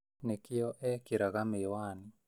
Nĩkĩo ekĩraga mĩwani